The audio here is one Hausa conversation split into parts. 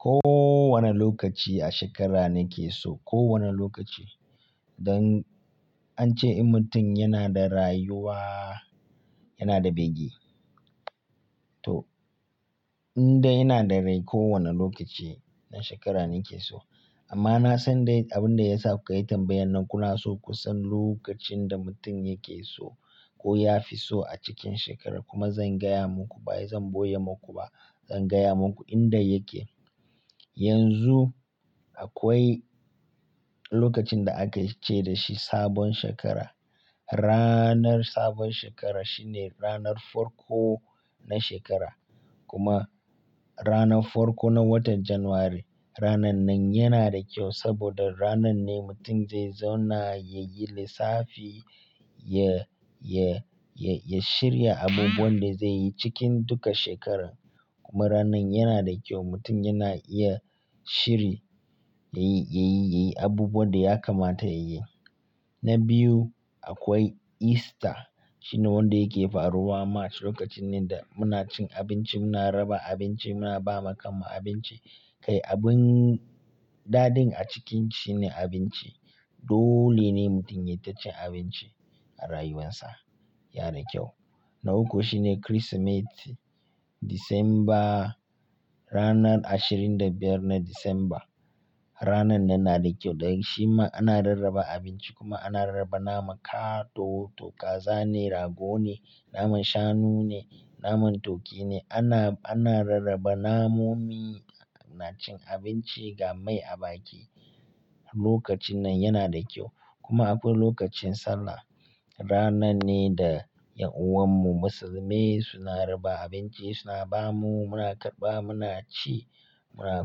Ko wane lokaci a shekara na ke so, ko wane lokaci. Don an ce mutum yana da rayuwa, yana da bege. To, indai ina da rai kowane lokaci na shekara ne yake so. Amma na san dai abin da ya sa kukayi tambayan nan kuna so ku san lokacin da mutum yake so ko ya fi so a cikin shekara kuma zan gaya muku ba zan boye muku ba. Zan gaya muku inda yake. Yanzu akwai lokacin da aka ce dashi sabon shekara. Ranar sabon shekara shine ranar farko na shekara kuma ranar farko na watan Janairu. Ranar nan yana da kyau saboda ranar ne mutum zai zauna ya yi lissafi, ya, ya, ya, ya shirya abubuwan da zai yi cikin duka shekarar. Kuma ranar yana da kyau mutum yana iya shiri, ya yi, ya yi, ya yi abubuwan da ya kamata ya yi. Na biyu akwai Easter shine wanda yake faruwa March. Lokacin ne da muna cin abinci, muna raba abinci, muna ba ma kanmu abinci. Kai abin dadin a cikin shi ne abinci. Dole ne mutum ya yi ta cin abinci a rayuwarsa. Ya na da kyau. Na uku shine Kirsimeti. Disamba ranar ashirin da biyar na Disamba. Ranar nan na da kyau dan shi ma ana rarraba abinci kuma ana rarraba naman ka, to, to kaza ne, rago ne, naman shanu ne, naman turkey ne. Ana, ana rarraba namomi. Muna cin abinci ga mai a baki. Lokacin nan yana da kyau. Kuma akwai lokacin Sallah. Ranar ne da ’yan’uwan mu musulmai suna raba abinci, suna ba mu, muna karɓa, muna ci, muna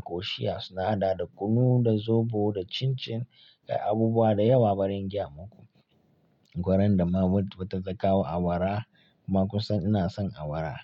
koshiya. Suna hada da kunu, da zobo, da cin-cin. Kai abubuwa da yawa bari in gaya muku. Gwarin da mama ta kawo awara kuma kun san ina son awara.